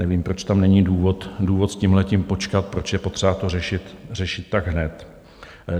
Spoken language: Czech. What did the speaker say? Nevím, proč tam není důvod s tímhle počkat, proč je potřeba to řešit tak hned.